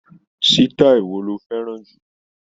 Sítáì wo lo fẹ́ràn jù?